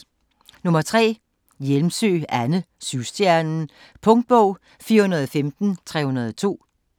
Hjælmsø, Anne: Syvstjernen Punktbog 415302